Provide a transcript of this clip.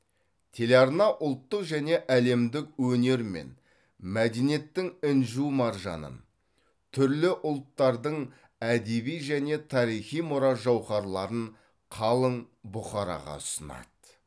телеарна ұлттық және әлемдік өнер мен мәдениеттің інжу маржанын түрлі ұлттардың әдеби және тарихи мұра жауһарларын қалың бұқараға ұсынады